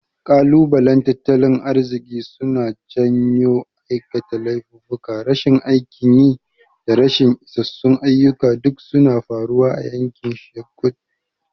Kalubalen tattalin arziki suna janyo aikata laifuka, rashin aikin yi, da rashin isassun ayyuka duk suna faruwa a yankin ghetto.